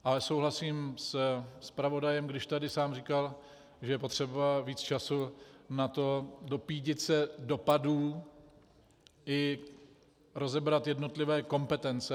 Ale souhlasím se zpravodajem, když tady sám říkal, že je potřeba víc času na to, dopídit se dopadů i rozebrat jednotlivé kompetence.